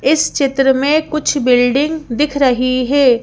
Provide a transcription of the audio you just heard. इस चित्र में कुछ बिल्डिंग दिख रही है।